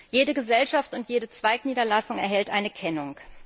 Jede Gesellschaft und jede Zweigniederlassung erhält eine Kennung.